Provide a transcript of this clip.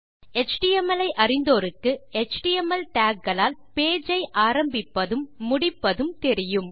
HTML ஐ அறிந்தோருக்கு HTML tags களால் பேஜ் ஐ ஆரம்பிப்பதும் முடிப்பது தெரியும்